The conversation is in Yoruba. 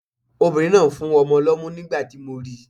Obìnrin náà ń fún ọmọ lọ́mú nígbà tí mo ri.